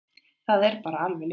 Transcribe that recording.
Það er bara alveg ljóst.